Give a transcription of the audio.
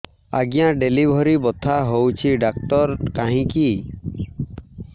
ଆଜ୍ଞା ଡେଲିଭରି ବଥା ହଉଚି ଡାକ୍ତର କାହିଁ କି